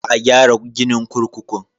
Za a gyara ginin kurkukun.